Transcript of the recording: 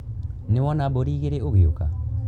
Nĩwona mbũri igĩrĩ ũgĩũka.